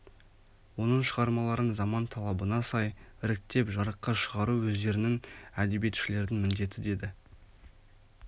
оның шығармаларын заман талабына сай іріктеп жарыққа шығару өздеріңнің әдебиетшілердің міндеті деді